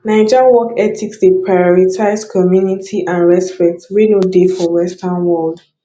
naija work ethics dey prioritize community and respect wey no dey for western world